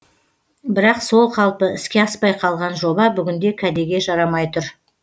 бірақ сол қалпы іске аспай қалған жоба бүгінде кәдеге жарамай тұр